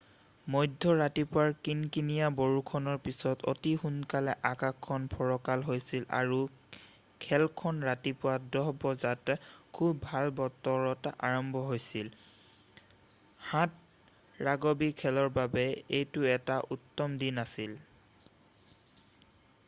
মধ্য ৰাতিপুৱাৰ কিনকিনিয়া বৰষুণৰ পিছতে অতি সোনকালে আকাশখন ফৰকাল হৈছিল আৰু খেলখন ৰাতিপুৱা 10:00 বজাত খুব ভাল বতৰত আৰম্ভ হৈছিল 7' ৰাগবি খেলৰ বাবে এইটো এটা উত্তম দিন আছিল